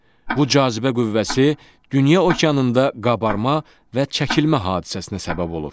Bu cazibə qüvvəsi dünya okeanında qabarma və çəkilmə hadisəsinə səbəb olur.